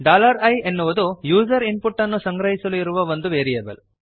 i ಅನ್ನುವುದು user input ಅನ್ನು ಸಂಗ್ರಹಿಸಲು ಇರುವ ಒಂದು ವೇರಿಯೇಬಲ್